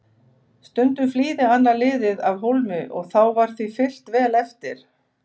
Stundum flýði annað liðið af hólmi og þá var því fylgt vel eftir.